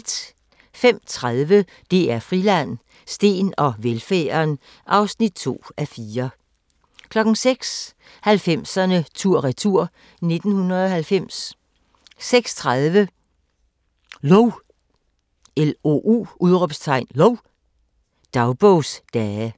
05:30: DR Friland: Steen og velfærden (2:4) 06:00: 90'erne tur-retur: 1990 06:30: Lou! – dagbogsdage